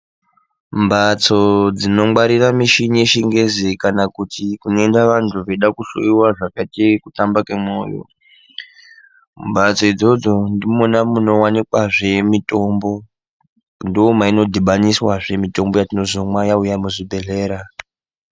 Mbatso dzinongwarira mishini yechingezi kana kuti kunoenda vantu vechida kuhloiwa zvakaite kutamba kemwoyo. Mbatso idzodzo ndimona munowanikahe mitombo. Ndomainodhibaniswazve mitombo yatinozomwa yauya muzvibhedhlera.